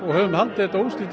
höfum haldið þetta óslitið